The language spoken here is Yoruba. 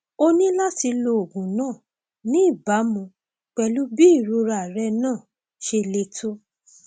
o ní láti lo oògùn náà ní ìbámu pẹlú bí irorẹ náà ṣe le tó